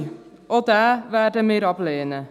Auch diesen werden wir ablehnen.